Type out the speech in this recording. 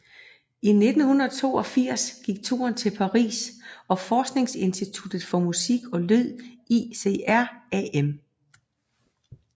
I 1982 gik turen til Paris og forskningsinstituttet for musik og lyd ICRAM